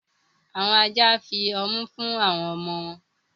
Awọn ajá nfí ọmù fún awọn ọmọ wọn.